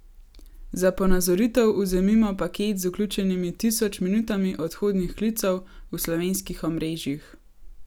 Za ponazoritev vzemimo paket z vključenimi tisoč minutami odhodnih klicev v slovenskih omrežjih.